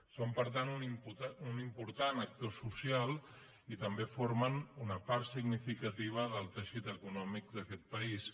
són per tant un important actor social i també formen una part significativa del teixit econòmic d’aquest país